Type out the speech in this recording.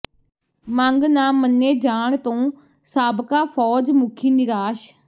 ਮੰਗ ਨਾ ਮੰਨੇ ਜਾਣ ਤੋਂ ਸਾਬਕਾ ਫ਼ੌਜ ਮੁਖੀ ਨਿਰਾਸ਼